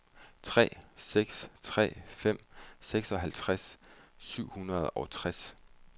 tre seks tre fem seksoghalvtreds syv hundrede og tres